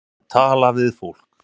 Að tala við fólk